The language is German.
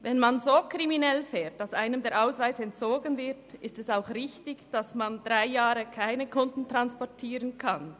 Wenn man so kriminell fährt, dass einem der Ausweis entzogen wird, ist es auch richtig, dass man drei Jahre lang keine Kunden transportieren darf.